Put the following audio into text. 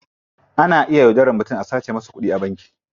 Ana iya yaudaran mutum a sace masa kudi a banki.